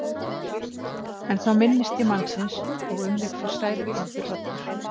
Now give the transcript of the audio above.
En þá minnist ég mannsins og um mig fer sælukenndur hrollur.